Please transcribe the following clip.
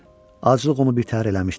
Acılıq onu birtəhər eləmişdi.